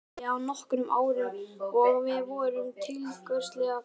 Þetta byrjaði fyrir nokkrum árum og við vorum tiltölulega fáar.